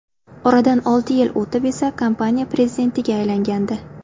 Oradan olti yil o‘tib esa kompaniya prezidentiga aylangandi.